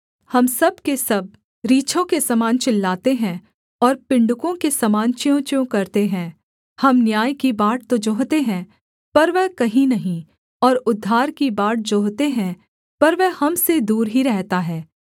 हम सब के सब रीछों के समान चिल्लाते हैं और पिण्डुकों के समान च्यूंच्यूं करते हैं हम न्याय की बाट तो जोहते हैं पर वह कहीं नहीं और उद्धार की बाट जोहते हैं पर वह हम से दूर ही रहता है